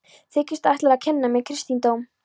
Þykistu ætla að kenna mér kristindóm?